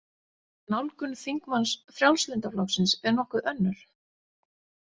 Nálgun þingmanns Frjálslynda flokksins er nokkuð önnur.